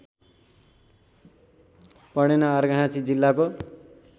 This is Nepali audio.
पणेना अर्घाखाँची जिल्लाको